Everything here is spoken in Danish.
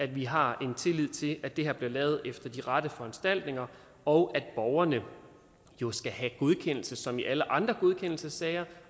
vi har en tillid til at det her bliver lavet efter de rette foranstaltninger og at borgerne jo skal have godkendelse som i alle andre godkendelsessager